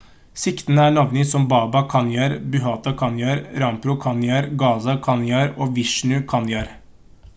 siktede er navngitt som baba kanjar bhutha kanjar rampro kanjar gaza kanjar og vishnu kanjar